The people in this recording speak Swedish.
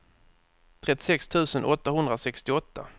trettiosex tusen åttahundrasextioåtta